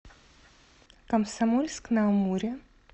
комсомольск на амуре